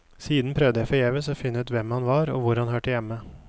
Siden prøvde jeg forgjeves å finne ut hvem han var og hvor han hørte hjemme.